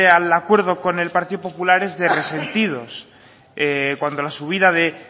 al acuerdo con el partido popular es de resentidos cuando la subida de